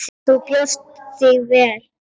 Þú stóðst þig vel.